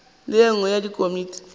le ye nngwe ya dikomiti